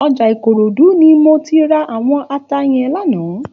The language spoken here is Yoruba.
Òjà Ikorodu ni mó ti rá áwòn àtá yèn làná